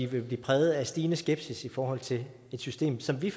vil blive præget af stigende skepsis i forhold til et system som vi